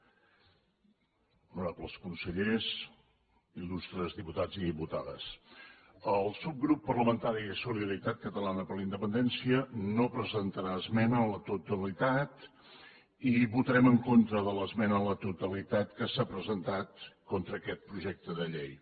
honorables consellers illustres diputats i diputades el subgrup parlamentari de solidaritat catalana per la independència no presentarà esmena a la totalitat i votarem en contra de l’esmena a la totalitat que s’ha presentat contra aquest projecte de llei